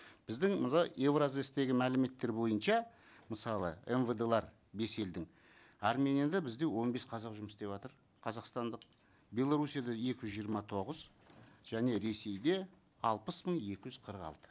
біздің мына евразэс тегі мәліметтер бойынша мысалы мвд лар бес елдің арменияда бізде он бес қазақ жұмыс істеватыр қазақстандық белоруссияда екі жүз жиырма тоғыз және ресейде алпыс мың екі жүз қырық алты